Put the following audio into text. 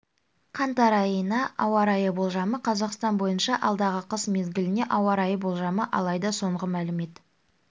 қаңтар айына ауа райы болжамы қазақстан бойынша алдағы қыс мезгіліне ауа райы болжамы алайда соңғы мәлімет